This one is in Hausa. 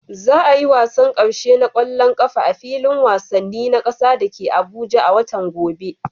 Za a yi wasan karshe na kwallon kafa a filin wasanni na kasa da ke Abuja a watan gobe.